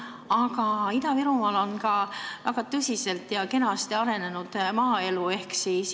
Aga Ida-Virumaal on ka väga kenasti arenenud maaelu.